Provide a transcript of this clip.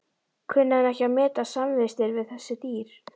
Kunni hann ekki að meta samvistir við þessi dýr.